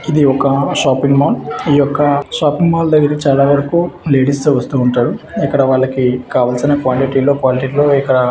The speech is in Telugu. ఇది ఒక షాపింగ్ మాల్ . ఈ యొక్క షాపింగ్ మాల్ దగ్గర చాలా వరకు లేడీసే వస్తూ ఉంటారు. ఇక్కడ వాళ్ళకి కావాల్సిన క్వాంటిటీ లో క్వాలిటీ లో ఇక్కడ